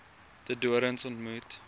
de doorns ontmoet